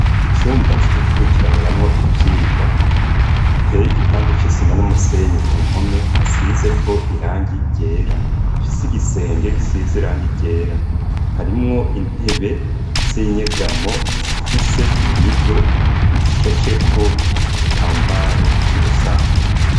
Icumba co gukurikiraniramwo ivyigwa, iteyeye igipande c'isima n'umusenyi ku mpome hasize ko irangi ryera fise igisenge gisize irangi ryera, harimwo intebe z'inyegamo zifise imido ishasheko igitambaro c'urusato.